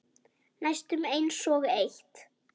Næstum einsog eitt.